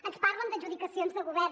ens parlen d’adjudicacions de govern